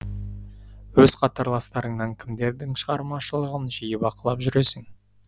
өз қатарластарыңнан кімдердің шығармашылығын жиі бақылап жүресің